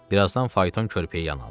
Bir azdan fayton körpüyə yan aldı.